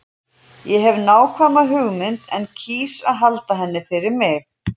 Ég hef nákvæma hugmynd en kýs að halda henni fyrir mig.